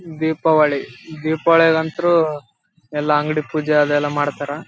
ಇದು ದಸರಾ ಪಿಕ್ಚರ್ ಗಳು ಇದು ಎಲ್ಲ ನ್ಯಾ ಎ. ಚಿಕ್ಕ ಮಕ್ಕಳು ಯಲ್ಲ ಬಾಣಾ ಮತ್ತೆ ಬೇರೆ ತ--